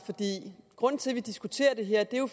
grunden til at vi diskuterer det her er jo